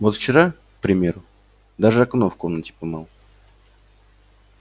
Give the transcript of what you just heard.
вот вчера к примеру даже окно в комнате помыл